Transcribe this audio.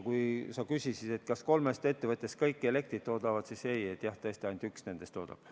Kui sa küsisid, kas kolmest ettevõttest kõik elektrit toodavad, siis ei, tõesti ainult üks nendest toodab.